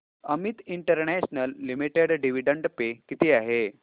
Amit International Limited dividend pay किती आहे